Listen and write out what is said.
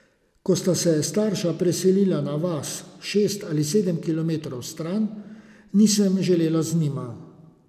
Ko sta se starša preselila na vas šest ali sedem kilometrov stran, nisem želela z njima.